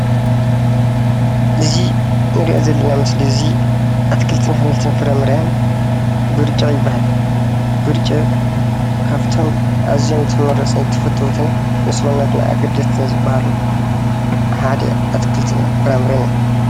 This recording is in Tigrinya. እዚ እንሪኦ ዘለና ምስሊ እዚ ኣትክልትን ኣሕምልትን ፍረ - ምረን ብርጭቅ ይባሃል፡፡ ብርጭቅ ካብቶም ተመረፅት ኣዝዩን ተፈተውት ንሰውነትና ኣገደስትን ዝባሃሉ ሓደ ኣትክልትን ፍራ -ምረን እዮም፡፡